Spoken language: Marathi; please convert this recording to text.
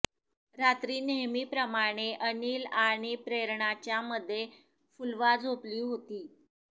रात्री नेहमीप्रमाणे अनिल आणि प्रेरणाच्या मध्ये फुलवा झोपली होती